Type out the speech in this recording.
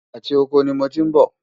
àti okò ní mọ tí n bó